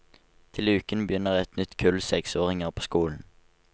Til uken begynner et nytt kull seksåringer på skolen.